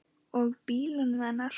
Og bílnum hennar.